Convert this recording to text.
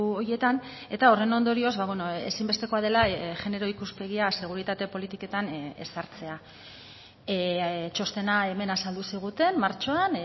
horietan eta horren ondorioz ezinbestekoa dela genero ikuspegia seguritate politiketan ezartzea txostena hemen azaldu ziguten martxoan